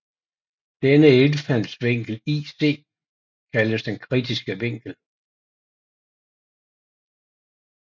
Denne indfaldsvinkel ic kaldes den kritiske vinkel